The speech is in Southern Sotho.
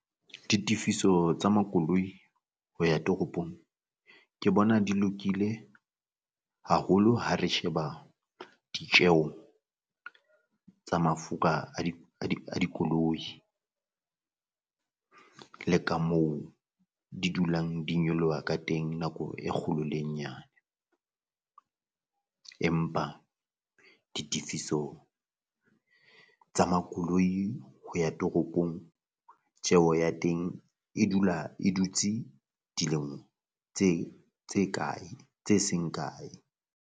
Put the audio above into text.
Ditefiso tsa makoloi ho ya toropong ke bona di lokile haholo ha re sheba ditjeho tsa mafura a dikoloi le ka moo di dulang di nyoloha ka teng nako e kgolo le e nyane, empa ditefiso tsa makoloi ho ya toropong tjeho ya teng e dula e dutse dilemo tse tse kae tse seng kae?